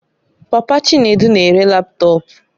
Papa Chinedu na-ere laptọọpụ